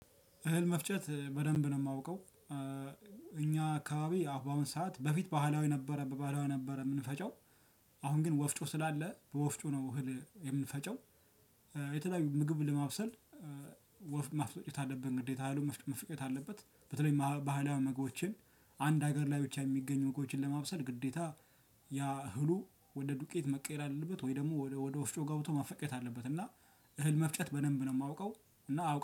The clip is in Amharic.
እህል መፍጨት በደንብ ነው የማውቀው። እኛ አካባቢ በአሁን ሰዓት በፊት ባህላዊ ነበረ፣ በባህላዊ ነበረ የምንፈጨው። አሁን ግን ወፍጮ ስላለ፣ ወፍጮ ነው እህል የሚፈጨው። የተለያዩ ምግብ ለማብሰል ወፍ ማስፈጨት አለብን ግዴታ። እህሉ መፈጨት አለበት። በተለይ ባህላዊ ምግቦችን አንድ ሀገር ላይ ብቻ የሚገኙ ምግቦችን ለማብሰል ግዴታ ያ እህሉ ወደ ዱቄት መቀየር አለበት፣ ወይ ደግሞ ወደ ወፍጮ ጋ ወስዶ ማስፈጨት አለበት። እና እህል መፍጨት በደንብ ነው የማውቀው። እና